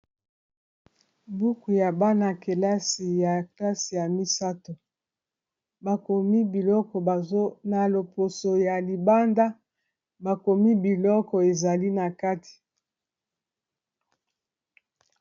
buku ya bana-kelasi ya klasi ya misato bakomi biloko na loposo ya libanda bakomi biloko ezali na kati